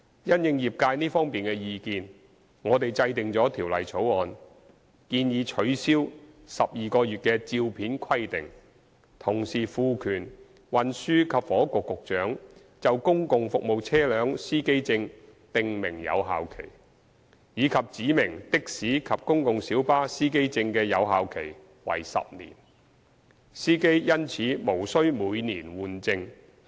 因應業界這方面的意見，我們制定了《條例草案》，建議取消12個月的照片規定，同時賦權運輸及房屋局局長就公共服務車輛司機證訂明有效期，以及指明的士司機證及公共小巴司機證的有效期為10年，司機因此無需每年換證。